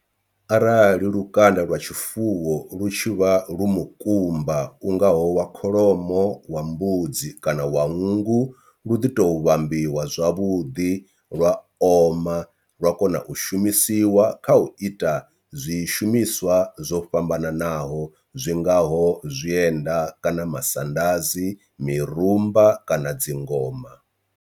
Arali lukanda lwa tshifuwo lu tshi vha lu mukumba u ngaho wa kholomo, wa mbudzi kana wa nngu lu ḓi to vhambadziwa zwavhuḓi lwa oma lwa kona u shumisiwa kha u ita zwishumiswa zwo fhambananaho zwingaho zwienda kana masandazi, mirumba kana dzingoma.